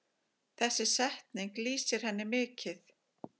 Þessi setning lýsir henni mikið.